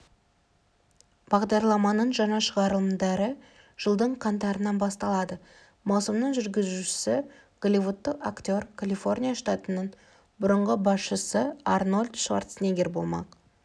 бағдарламаның жаңа шығарылымдары жылдың қаңтарынан басталады маусымның жүргізушісі голливудтық актер калифорния штатының бұрынғы басшысыарнольд шварценеггер болмақ